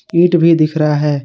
ईट भी दिख रहा है।